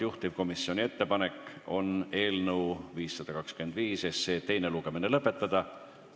Juhtivkomisjoni ettepanek on eelnõu 524 teine lugemine lõpetada.